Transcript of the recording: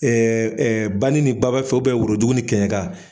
bani ni baba fɛ worodug ni kɛɲɛka